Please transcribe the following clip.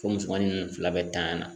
Fo musomani nunnu fila bɛ tanya!